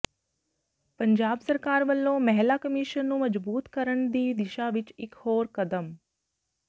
ਪੰਜਾਬ ਸਰਕਾਰ ਵੱਲੋਂ ਮਹਿਲਾ ਕਮਿਸ਼ਨ ਨੂੰ ਮਜਬੂਤ ਕਰਨ ਦੀ ਦਿਸ਼ਾ ਵਿੱਚ ਇੱਕ ਹੋਰ ਕਦਮ